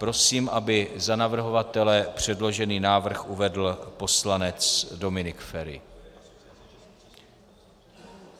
Prosím, aby za navrhovatele předložený návrh uvedl poslanec Dominik Feri.